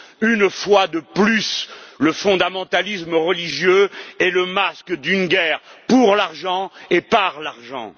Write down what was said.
Une fois de plus, le fondamentalisme religieux est le masque d'une guerre pour l'argent et par l'argent.